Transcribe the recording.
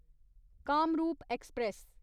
Kamrup express